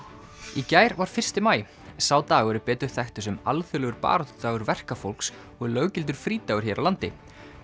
í gær var fyrsti maí sá dagur er betur þekktur sem alþjóðlegur baráttudagur verkafólks og er löggildur frídagur hér á landi